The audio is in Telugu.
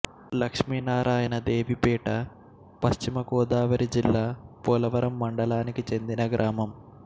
లక్ష్మినారాయణ దేవిపేట పశ్చిమ గోదావరి జిల్లా పోలవరం మండలానికి చెందిన గ్రామం